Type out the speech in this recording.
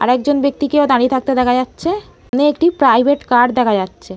আর একজন ব্যাক্তিকেও দাঁড়িয়ে থাকতে দেখা যাচ্ছে ওখানে একটি প্রাইভেট কার দেখা যাচ্ছে।